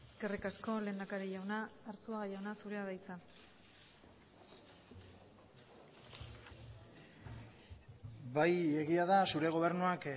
eskerrik asko lehendakari jauna arzuaga jauna zurea da hitza bai egia da zure gobernuak